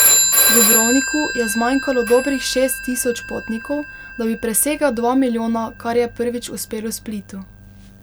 Dubrovniku je zmanjkalo dobrih šest tisoč potnikov, da bi presegel dva milijona, kar je prvič uspelo Splitu.